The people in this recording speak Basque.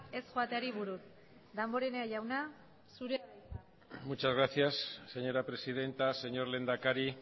ez joateari buruz damborenea jauna zurea da hitza muchas gracias señora presidenta señor lehendakari